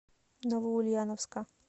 новоульяновска